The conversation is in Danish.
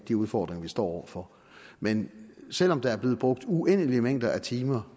de udfordringer vi står over for men selv om der er blevet brugt uendelige mængder af timer